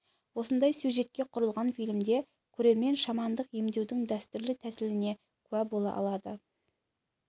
осындай сюжетке құрылған фильмде көрермен шамандық емдеудің дәстүрлі тәсіліне куә бола алады